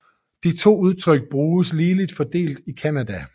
De to udtryk bruges ligeligt fordelt i Canada